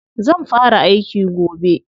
Zan fara aiki gobe.